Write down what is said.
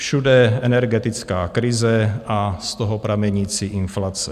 Všude energetická krize a z toho pramenící inflace.